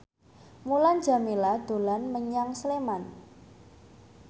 Mulan Jameela dolan menyang Sleman